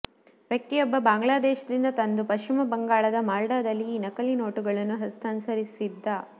ವ್ಯಕ್ತಿಯೊಬ್ಬ ಬಾಂಗ್ಲಾದೇಶದಿಂದ ತಂದು ಪಶ್ಚಿಮ ಬಂಗಾಳದ ಮಲ್ಡಾದಲ್ಲಿ ಈ ನಕಲಿ ನೋಟುಗಳನ್ನು ಹಸ್ತಾಂತರಿಸಿದ್ದ